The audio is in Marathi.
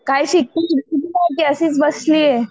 काय शिकते बिकते की नाही का अशीच बसलीये.